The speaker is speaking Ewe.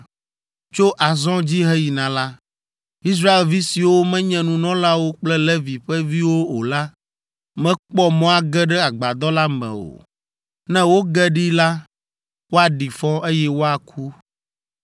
Tso azɔ dzi heyina la, Israelvi siwo menye nunɔlawo kple Levi ƒe viwo o la mekpɔ mɔ age ɖe agbadɔ la me o. Ne woge ɖee la, woaɖi fɔ, eye woaku.